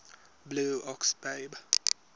blue ox babe